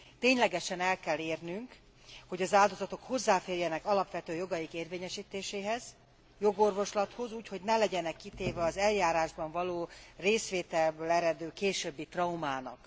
Ténylegesen el kell érnünk, hogy az áldozatok hozzáférjenek alapvető jogaik érvényesítéséhez, jogorvoslathoz, úgy, hogy ne legyenek kitéve az eljárásban való részvételből eredő későbbi traumának.